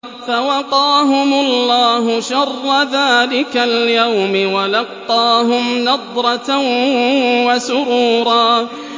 فَوَقَاهُمُ اللَّهُ شَرَّ ذَٰلِكَ الْيَوْمِ وَلَقَّاهُمْ نَضْرَةً وَسُرُورًا